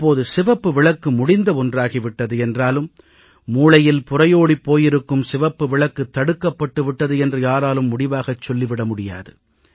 இப்போது சிவப்பு விளக்கு முடிந்த ஒன்றாகி விட்டது என்றாலும் மூளையில் புரையோடிப் போயிருக்கும் சிவப்பு விளக்கு தடுக்கப்பட்டு விட்டது என்று யாராலும் முடிவாகச் சொல்லி விட முடியாது